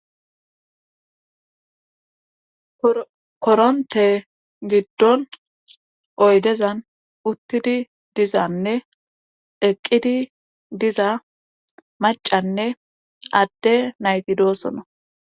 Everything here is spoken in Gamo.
koronte giddon oydezan uttidi dizanne eqqidi diza macanne adde nayti doosona